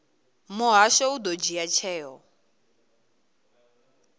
muhasho u ḓo dzhia tsheo